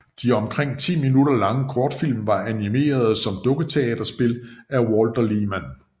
De omkring ti minutter lange kortfilm var animerede som dukketeaterspil af Walther Lehmann